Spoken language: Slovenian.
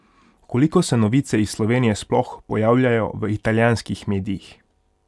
Koliko se novice iz Slovenije sploh pojavljajo v italijanskih medijih?